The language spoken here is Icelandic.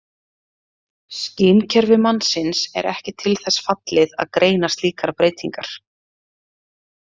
Skynkerfi mannsins er ekki til þess fallið að greina slíkar breytingar.